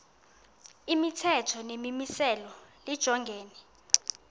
imithetho nemimiselo lijongene